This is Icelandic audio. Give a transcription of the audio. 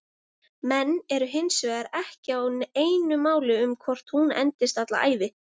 Menn eru hinsvegar ekki á einu máli um hvort hún endist alla ævi.